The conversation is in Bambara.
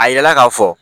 A yirala ka fɔ